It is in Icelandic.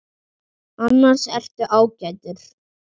Annars ertu ágætur.